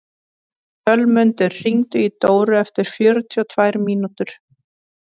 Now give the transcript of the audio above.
Sölmundur, hringdu í Dóra eftir fjörutíu og tvær mínútur.